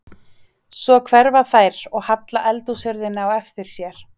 Svo hverfa þær og halla eldhúshurðinni á eftir sér.